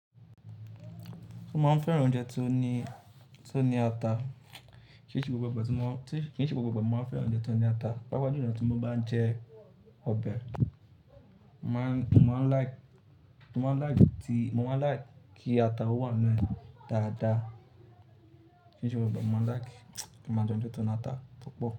Ṣé o máa ń fẹ́ran oúnjẹ tí ó ní, tí ó ní ata? Kí n ṣe gbogbo ìgbàgbọ̀ tí mo, kí n ṣe gbogbo ìgbàgbọ̀ mó máa ń fẹ́ran oúnjẹ tí ó ní ata. Pápá julọ tí mo bá ń jẹ ọbẹ̀, mà á, mo máa ń like, mo máa ń like kí ata ó wà nínú ẹ̀ dáadáa. Kí n ṣe gbogbo ìgbàgbọ̀ mo máa ń like kí màá jẹ oúnjẹ tó ní ata púpọ̀